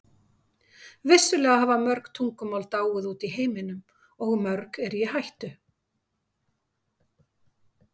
Vissulega hafa mörg tungumál dáið út í heiminum og mörg eru í hættu.